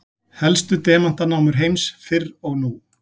helstu demantanámur heims fyrr og nú